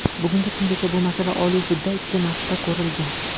Bugungi kungacha bu masala Oliy sudda ikki marta ko‘rilgan.